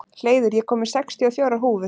Hleiður, ég kom með sextíu og fjórar húfur!